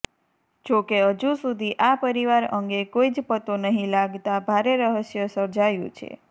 જોકે હજુસુધી આ પરિવાર અંગે કોઈજ પત્તો નહિ લાગતા ભારે રહસ્ય સર્જાયું છે